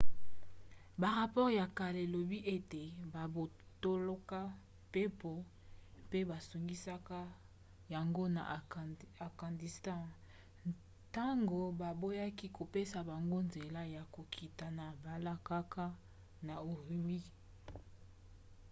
barapore ya kala elobi ete babotolaka mpepo mpe bazongisaka yango na afghanistan ntango baboyaki kopesa bango nzela ya kokita na mbalakaka na ürümqi